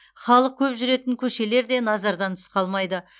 халық көп жүретін көшелер де назардан тыс қалмайды